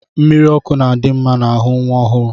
Mmiri ọkụ na-adi mma n'ahụ nwa ọhụụ